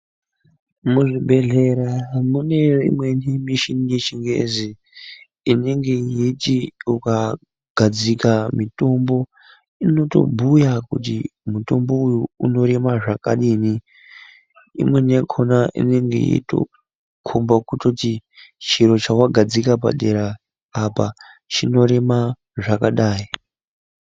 Muzvibhedhlera mune imweni michini yechingezi, inenge yeiti ukagadzika mitombo, inotobhuya kuti mutombo uyu unorema zvakadini, imweni yakona inenge yeitokomba kutoti chiro chawagadzika padera apa, chinorema zvakadayi.